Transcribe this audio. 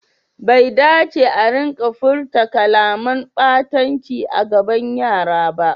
Bai dace a rika furta kalaman ɓatanci a gaban yara ba.